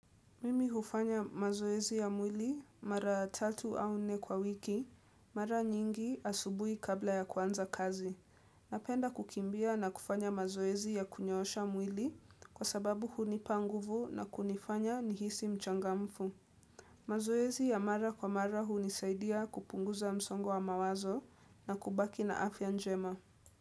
Mimi hufanya mazoezi ya mwili mara tatu au nne kwa wiki, mara nyingi asubui kabla ya kuanza kazi. Napenda kukimbia na kufanya mazoezi ya kunyoosha mwili kwa sababu hunipa nguvu na kunifanya nihisi mchangamfu. Mazoezi ya mara kwa mara hunisaidia kupunguza msongo wa mawazo na kubaki na afya njema.